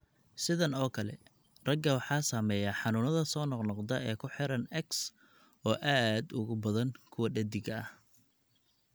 Sidan oo kale, ragga waxaa saameeya xanuunada soo noqnoqda ee ku xiran X oo aad uga badan kuwa dheddigga ah.